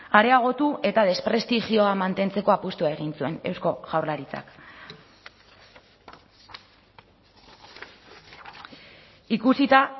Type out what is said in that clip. areagotu eta desprestigioa mantentzeko apustua egin zuen eusko jaurlaritzak ikusita